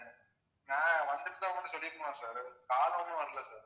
நான் வந்திருந்தா உங்கிட்ட சொல்லிருப்பேன்ல sircall ஒண்ணும் வரலை sir